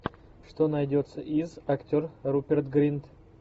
что найдется из актер руперт гринт